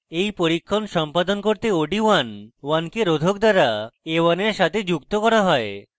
এই পরীক্ষণ সম্পাদন করতে od11k রোধক দ্বারা a1 এর সাথে যুক্ত করা হয়